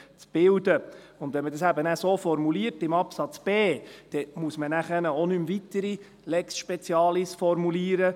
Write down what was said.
Wenn man es dann eben im Buchstaben b so formuliert, dann muss man nachher auch keine weitere Lex specialis formulieren.